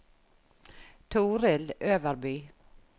Toril Øverby